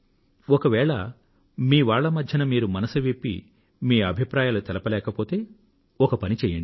ఒకవేళ మీవాళ్ల మధ్యన మీరు మనసు విప్పి మీ అభిప్రాయాలు వ్యక్తం చేయలేకపోతే ఒక పని చెయ్యండి